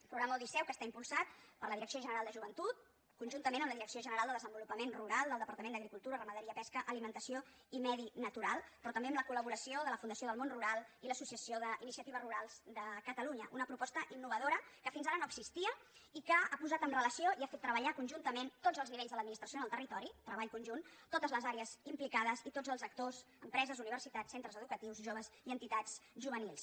el programa odisseu que està impulsat per la direcció general de joventut conjuntament amb la direcció general de desenvolupament rural del departament d’agricultura ramaderia pesca alimentació i medi natural però també amb la col·laboració de la fundació del món rural i l’associació d’iniciatives rurals de catalunya una proposta innovadora que fins ara no existia i que ha posat en relació i ha fet treballar conjuntament tots els nivells de l’administració en el territori treball conjunt totes les àrees implicades i tots els actors empreses universitats centres educatius joves i entitats juvenils